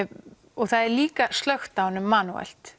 og það er líka slökkt á honum